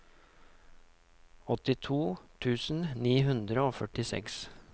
åttito tusen ni hundre og førtiseks